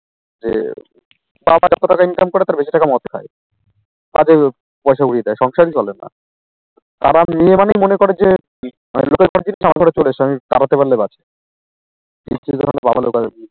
যে যা টাকা income করে তার বেশি টাকার মদ খায়, তাতে পয়সা উরিয়ে দেয় সংসার ই চলেনা। তারা মেয়ে মানেই মনে করে যে মানে তারাতে পারলে বাঁচি